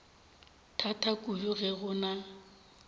thata kudu ge go na